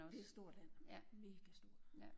Det er et stort land mega stort